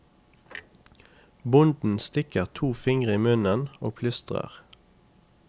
Bonden stikker to fingre i munnen og plystrer.